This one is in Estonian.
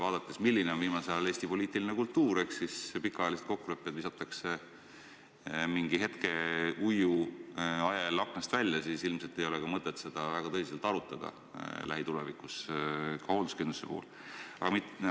Arvestades, milline on viimasel ajal Eesti poliitiline kultuur – pikaajalised kokkulepped visatakse mingi hetkeuiu ajel aknast välja –, ilmselt ei ole mõtet seda hoolduskindlustust lähitulevikus arutada.